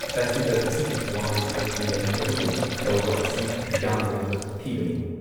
Festival ꯑꯁꯤꯒꯤ ꯋꯥꯍꯟꯊꯣꯛ ꯂꯩꯍꯟꯗꯕꯒꯨꯝ ꯇꯧꯕ ꯑꯁꯤ ꯌꯥꯝꯅ ꯂꯥꯏꯕꯛ ꯊꯤꯕꯅꯤ ꯫